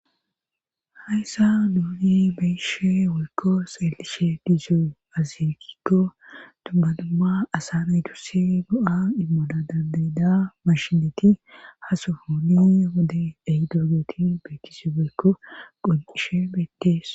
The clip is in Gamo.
hayssa nuuni be7ishe woykko xelishe dizoy aaze giikko dumma dumma asaa naytussi go7a immina dandayida mashineti ha sohoni nuuni be7idoogeti beettishe woykko qoncishe beetees.